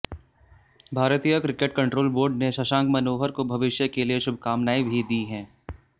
भारतीय cricket control board ने शशांक मनोहर को भविष्य के लिए शुभकामनाएं भी दी हैं